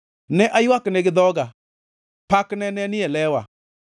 Ne aywakne gi dhoga; pakne ne ni e lewa.